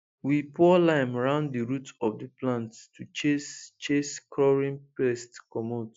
we pour lime round the root of the plants to chase chase crawling pests comot